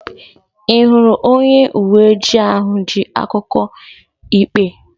Ị hụrụ onye uwe ojii ahụ ji akwụkwọ ikpe?